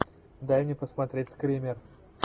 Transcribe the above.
дай мне посмотреть скример